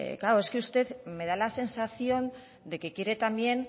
claro es que usted me da la sensación de que quiere también